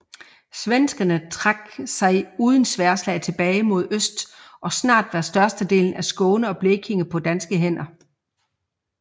Svenskerne trak sig uden sværdslag tilbage mod øst og snart var størstedelen af Skåne og Blekinge på danske hænder